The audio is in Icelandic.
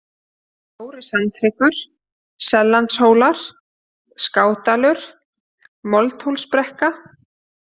Stóri-Sandhryggur, Sellandahólar, Skádalur, Moldhólsbrekka